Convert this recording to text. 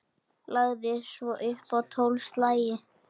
Lagði svo upp tólf slagi.